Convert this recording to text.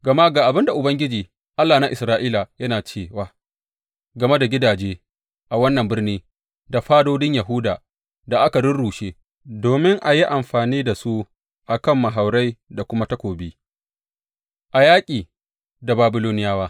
Gama ga abin da Ubangiji, Allah na Isra’ila yana cewa game da gidaje a wannan birni da fadodin Yahuda da aka rurrushe domin a yi amfani da su a kan mahaurai da kuma takobi a yaƙi da Babiloniyawa.